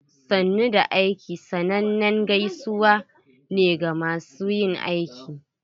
"Sannu da aiki" sannanen gaisuwa ne ga masu yin aiki.